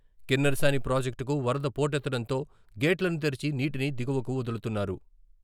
కిన్నెరసాని ప్రాజెక్టుకు వరద పోటెత్తడంతో గేట్లను తెరిచి నీటిని దిగువకు వదులుతున్నారు.